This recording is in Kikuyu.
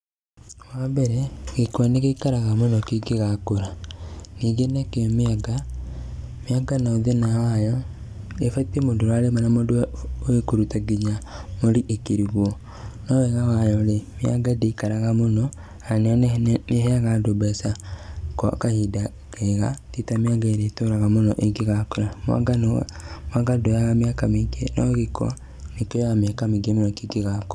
Wambere gĩkwa nĩgĩikara muno kĩngĩgakũra. Ningĩ nakĩo mĩanga, mĩanga nayo thĩĩna wayo, ĩbatiĩ mũndũ ũrarĩmĩra mũndũ ũĩ kũruta nginya mũri ĩkĩrugwo. No wega wayo-rĩ, mĩanga ndĩikara mũno na nĩĩheaga andũ mbeca gwa kahinda kega tita mianga ĩria itũraga mũno ingĩgakũra. Mũanga nduoyaga mĩaka mĩingĩ no gĩkwa nĩkĩoyaga mĩaka mĩingĩ muno kĩngĩgakũra.